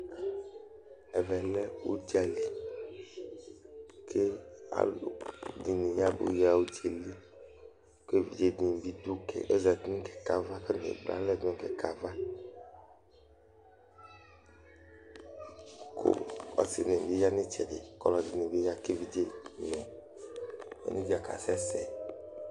Ɛvɛ lɛ udza li, kʋ alʋnɩ abʋ nʋ udza yɛli Kʋ evidze dɩnɩ bɩ dʋ; atani ekple alɛza nʋ kɛkɛ ava Kʋ ɔsɩ dɩnɩ bɩ ya nʋ ɩtsɛdɩ, kʋ ɔlɔdɩnɩ bɩ aya, kʋ evidze nʋ onedzǝ kasɛ sɛ